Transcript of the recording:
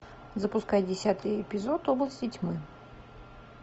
запускай десятый эпизод области тьмы